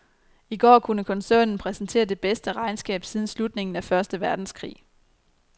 I går kunne koncernen præsentere det bedste regnskab siden slutningen af første verdenskrig.